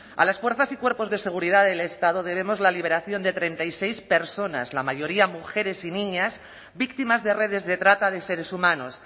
a las fuerzas y cuerpos de seguridad del estado debemos la liberación de treinta y seis personas la mayoría mujeres y niñas víctimas de redes de trata de seres humanos